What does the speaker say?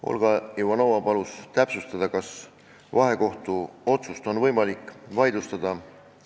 Olga Ivanova palus täpsustada, kas vahekohtu otsust on võimalik vaidlustada.